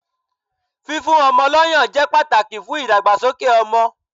Fífún ọmọ lọ́ yàn jẹ́ pàtàkì fún ìdàgbàsókè ọmọ.